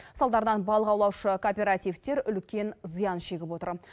салдарынан балық аулаушы кооперативтер үлкен зиян шегіп отыр